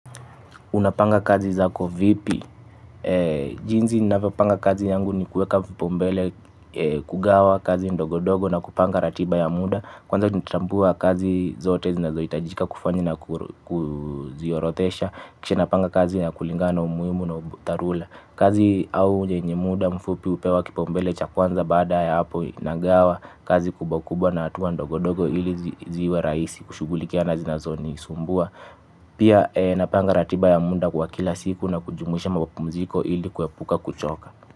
Unapanga kazi zako vipi, jinsi ninavyopanga kazi yangu ni kueka vipaumbele kugawa kazi ndogo ndogo na kupanga ratiba ya muda, kwanza natambua kazi zote zinazohitajika kufanya na kuziorodhesha, kisha napanga kazi na kulingana umuhimu na dharura. Kazi au yenye muda mfupi hupewa kipaumbele cha kwanza baada ya hapo inagawa kazi kubwa kubwa na hatua ndogo ndogo ili ziwe rahisi kushughulikia na zinazonisumbua. Pia napanga ratiba ya muda kwa kila siku na kujumuisha mapumziko ili kuepuka kuchoka.